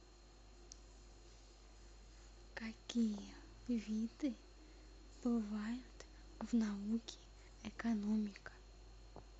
какие виды бывают в науке экономика